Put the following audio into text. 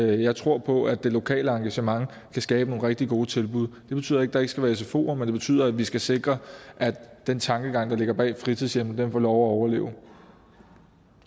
jeg tror på at det lokale engagement kan skabe nogle rigtig gode tilbud det betyder ikke at der ikke skal være sfoer men det betyder at vi skal sikre at den tankegang der ligger bag fritidshjemmene får lov at overleve